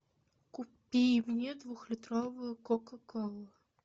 купи мне двухлитровую кока колу